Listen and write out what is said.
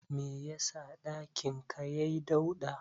Me yasa ɗakin ka yai dauɗa?